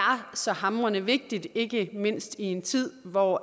så hamrende vigtigt ikke mindst i en tid hvor